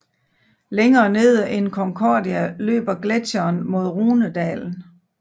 Længere nede end Concordia løber gletsjeren mod Rhonedalen